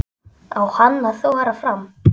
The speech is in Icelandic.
Á hann að þora fram?